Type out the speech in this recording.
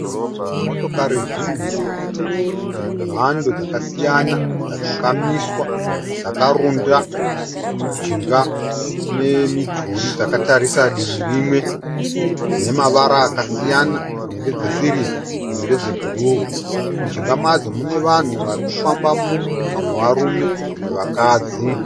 Motokari zhinji dzemhando dzakasiyana dzakamiswa dzakarunda mujinga memidhuri dzakatarisa divi rimwe. Dzine mavara akasiyana, dzimwe ndedzesirivha dzimwe ndedzebhuruu. Mujinga madzo mune vanhu vari kufambamo. Vamwe varume vamwe vakadzi.